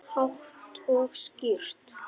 Hátt og skýrt.